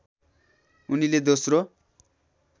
उनीले दोस्रो